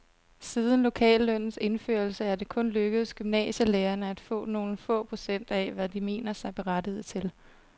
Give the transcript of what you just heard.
Siden lokallønnens indførelse er det kun lykkedes gymnasielærerne at få nogle få procent af, hvad de mener sig berettiget til.